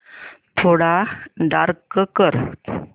थोडा डार्क कर